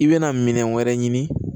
I bɛna minɛn wɛrɛ ɲini